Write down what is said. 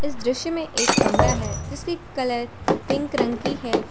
इस दृश्य में एक कमरा है जिसकी कलर पिंक रंग की है।